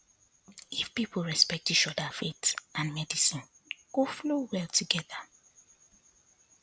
if people respect each other faith and medicine go flow well together